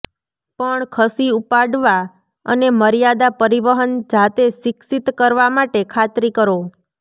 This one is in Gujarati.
પણ ખસી ઉપાડવા અને મર્યાદા પરિવહન જાતે શિક્ષિત કરવા માટે ખાતરી કરો